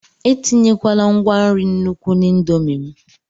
etinyekwala ngwa nri n'nukwu na indomie m!